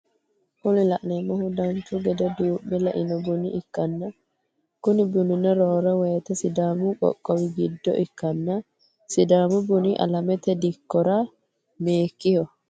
Kuni la'neemohu dancha gede duu'me le"ino buna ikkanna kuni bunino roore woyiite sidaami qoqqowi giddo ikkanna sidaamu buni alamete dikkora meikiho?